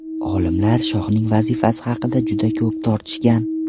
Olimlar shoxning vazifasi haqida juda ko‘p tortishgan.